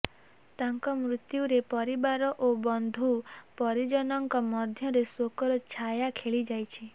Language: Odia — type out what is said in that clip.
ତାଙ୍କ ମୃତ୍ୟୁରେ ପରିବାର ଓ ବନ୍ଧୁ ପରିଜନଙ୍କ ମଧ୍ୟରେ ଶୋକର ଛାୟା ଖେଳିଯାଇଛି